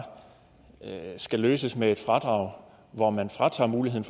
skal løses med et fradrag hvor man fratager muligheden